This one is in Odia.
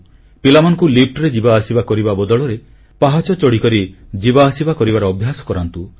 ପିଲାମାନଙ୍କୁ କୋଠାର ଲିଫ୍ଟରେ ଯିବା ଆସିବା କରିବା ବଦଳରେ ପାହାଚ ଚଢ଼ିକରି ଯିବା ଆସିବା କରିବାର ଅଭ୍ୟାସ କରାନ୍ତୁ